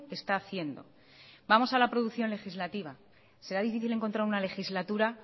está haciendo vamos a la producción legislativa será difícil encontrar una legislatura